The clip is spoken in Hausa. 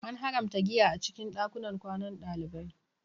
An haramta giya a cikin ɗakunan kwanan ɗalibai